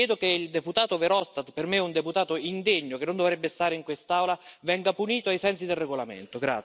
Chiedo che il deputato Verhofstadt secondo me un deputato indegno, che non dovrebbe stare in quest'Aula venga punito ai sensi del regolamento.